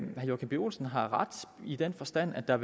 joachim b olsen har ret i den forstand at der